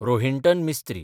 Rohinton Mistry